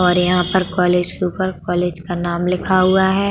और यहाँ पर कॉलेज के ऊपर कॉलेज का नाम लिखा हुआ है।